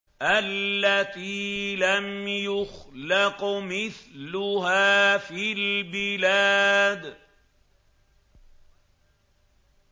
الَّتِي لَمْ يُخْلَقْ مِثْلُهَا فِي الْبِلَادِ